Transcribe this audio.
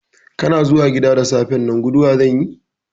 Kana zuwa gida da safen nan, guduwa zanyi?